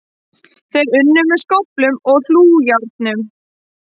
Þeir unnu með skóflum og hlújárnum